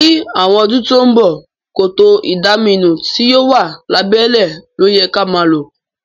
Ní àwon odún to n bo, kòtò ìdaminú ti yio wa lábẹ́lẹ́ lóyẹ ka ma lo